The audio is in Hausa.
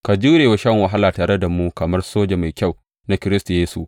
Ka jure wa shan wahala tare da mu kamar soja mai kyau na Kiristi Yesu.